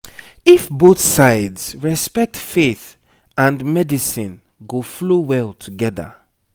if both sides respect faith and medicine go flow well together